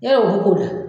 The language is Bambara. Yarɔ o b'u ko dɛ